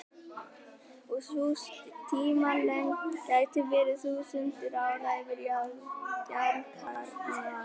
Sú tímalengd gæti verið þúsundir ára fyrir jarðkjarnann.